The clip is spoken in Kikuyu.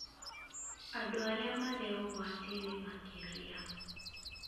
andũ arĩa marĩ ũgwati-inĩ makĩria